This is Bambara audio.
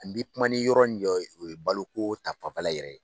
Ani n bɛ kuma ni yɔrɔnin jɔ ye o ye baloko ta fanfɛla yɛrɛ ye.